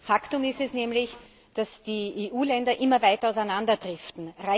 Faktum ist nämlich, dass die EU Länder immer weiter auseinanderdriften.